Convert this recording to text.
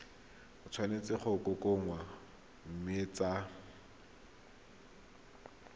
tshwanetse go kokoanngwa mme tsa